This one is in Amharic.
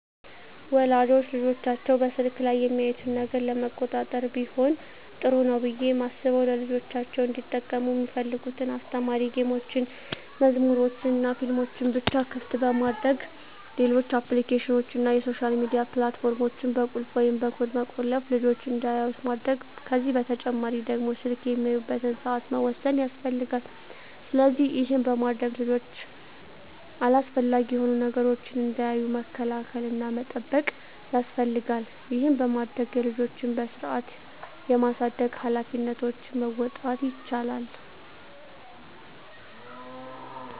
ወላጆች ልጆቻቸው በስልክ ላይ የሚያዩትን ነገር ለመቆጣጠር ቢሆን ጥሩ ነው ብየ ማስበው ልጆቻቸው እንዲጠቀሙ ሚፈልጉትን አስተማሪ ጌሞችን፣ መዝሙሮችንናፊልሞችን ብቻ ክፍት በማድረግ ሌሎች አፕሊኬሽኖችን እና የሶሻል ሚዲያ ፕላት ፎርሞችን በቁልፍ ወይም በኮድ በመቆለፍ ልጅች እንዳያዩት ማድረግ ከዚህ በተጨማሪ ደግሞ ስልክ የሚያዩበትን ሰአት መወሰን ያስፈልጋል። ስለዚህ ይህን በማድረግ ልጆች አላስፈላጊ የሆኑ ነገሮችን እንዳያዩ መከላከል እና መጠበቅ ያስፈልጋል ይህን በማድረግ የልጆችን በስርአት የማሳደግ ሀላፊነቶችን መወጣት ይቻላል።